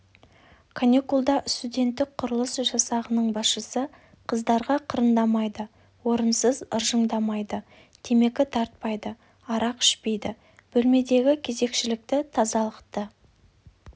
каникулда студенттік құрылыс жасағының басшысы қыздарға қырындамайды орынсыз ыржыңдамайды темекі тартпайды арақ ішпейді бөлмедегі кезекшілікті тазалықты